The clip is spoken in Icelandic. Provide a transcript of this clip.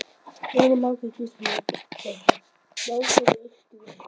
Jóhanna Margrét Gísladóttir: Ná sér í eitt grill?